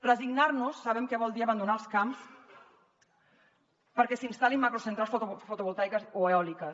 resignar nos sabem que vol dir abandonar els camps perquè s’hi instal·lin macrocentrals fotovoltaiques o eòliques